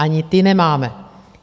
Ani ty nemáme.